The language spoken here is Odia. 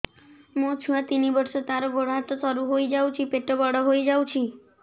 ମୋ ଛୁଆ ତିନି ବର୍ଷ ତାର ଗୋଡ ହାତ ସରୁ ହୋଇଯାଉଛି ପେଟ ବଡ ହୋଇ ଯାଉଛି